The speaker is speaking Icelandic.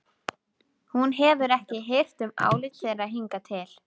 Þú hefur ekki hirt um álit þeirra hingað til.